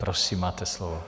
Prosím máte slovo.